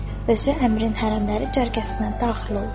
Özü əmrin hərəmləri cərgəsinə daxil oldu.